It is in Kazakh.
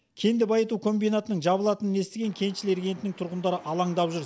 кенді байыту комбинатының жабылатынын естіген кеншілер кентінің тұрғындары алаңдап жүр